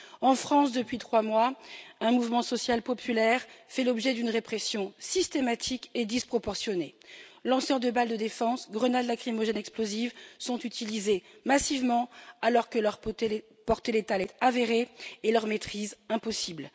En France, depuis trois mois, un mouvement social populaire fait l'objet d'une répression systématique et disproportionnée lanceurs de balles de défense et grenades lacrymogènes explosives sont utilisés massivement alors que leur portée létale est avérée et leur maîtrise impossible.